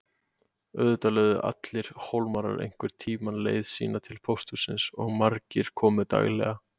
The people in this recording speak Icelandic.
Auðvitað lögðu allir Hólmarar einhvern tímann leið sína til pósthússins og margir komu daglega.